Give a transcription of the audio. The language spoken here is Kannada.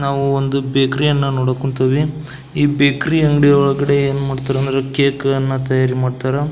ನಾವು ಒಂದು ಬೇಕರಿ ಅನ್ನಾ ನೋಡೋಕ್ ಹೊಂತಿವಿ ಈ ಬೇಕರಿ ಅಂಗಡಿ ಒಳಗಡೆ ಏನ್ ಮಾಡ್ತಾರಾ ಅಂದ್ರೆ ಕೇಕ್ ಅನ್ನ ತಯಾರಿ ಮಾಡ್ತಾರಾ.